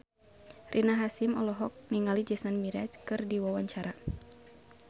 Rina Hasyim olohok ningali Jason Mraz keur diwawancara